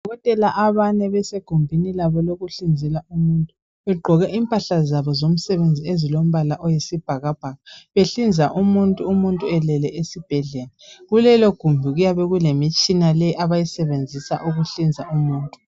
Odokotela abane basegumbini labo lokuhlinza umuntu begqoke impahla zabo zomsebenzi ezilombala oyisibhakabhaka. Behlinza umuntu, umuntu elele esibhedlela. Kulelogumbi kuyabe kulemitshina leyi abayisebenzisa ukuhlinza umuntu.